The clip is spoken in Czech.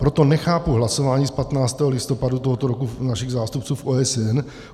Proto nechápu hlasování z 15. listopadu tohoto roku našich zástupců v OSN.